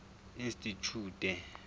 institjhute